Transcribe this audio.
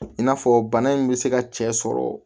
I n'a fɔ bana in bɛ se ka cɛ sɔrɔ